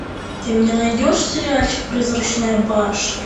ты мне найдешь сериальчик призрачная башня